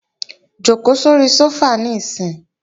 Jòkó sóri sófà níìsín!